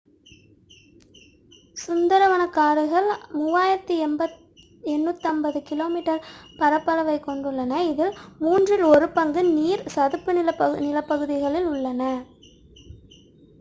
சுந்தரவனக்காடுகள் 3,850 km² பரப்பளவைக் கொண்டுள்ளன இதில் மூன்றில் ஒரு பங்கு நீர் / சதுப்பு நிலப்பகுதிகளில் உள்ளது